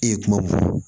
E ye kuma mun fɔ